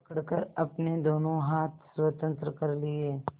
पकड़कर अपने दोनों हाथ स्वतंत्र कर लिए